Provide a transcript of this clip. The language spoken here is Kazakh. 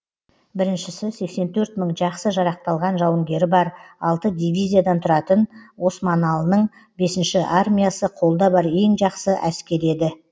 біріншісі сексен төрт мың жақсы жарақталған жауынгері бар алты дивизиядан тұратын османлының бесінші армиясы қолда бар ең жақсы әскер еді